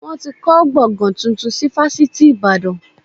Wọn ti kọ́ gbọ̀ngán tuntun si fásitì ìbàdàn